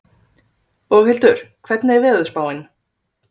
Boghildur, hvernig er veðurspáin?